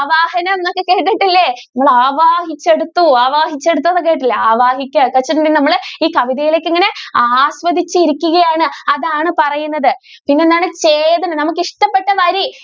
ആവാഹനം എന്നൊക്കെ കേട്ടിട്ടില്ലേ? നിങ്ങൾ ആവാഹിച്ചെടുത്തു ആവാഹിച്ചെടുത്തു എന്നൊക്കെ കേട്ടിട്ടില്ലേ ആവഹിക്കൽ അത് നമ്മൾ ഈ കവിതയിലേക്ക് ഇങ്ങനെ ആസ്വദിച്ചു ഇരിക്കുകയാണ് അതാണ് പറയുന്നത് പിന്നെ എന്താണ് നമുക്ക് ഇഷ്ടപെട്ട വരി.